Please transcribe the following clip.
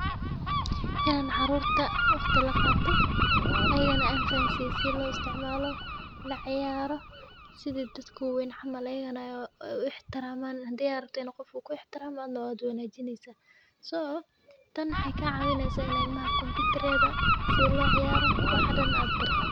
Inaan caruurta waqti la qaato, iyagana an fahansii si loo isticmaalo la ciyaaro sidii dadku weyn camal ayaygana u ixtiraamaan hadi arabto qofku u ixtiraamaan nabad wanaajineysa. So tan waxeyka caawinaysa in ilmaha kumbiyuutareeda si loo ciyaaro wax hadan aad bartid.